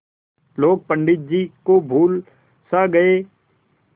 लोग पंडित जी को भूल सा गये